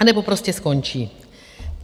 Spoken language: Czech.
A, anebo prostě skončí.